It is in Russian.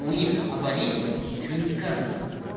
у них об аренде ничего не сказано